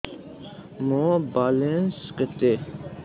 ମୋର ବାଲାନ୍ସ କେତେ